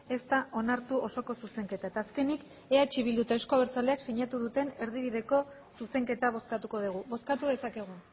ez da onartu osoko zuzenketa eta azkenik eh bildu eta euzko abertzaleak sinatu duten erdibideko zuzenketa bozkatuko dugu bozkatu dezakegu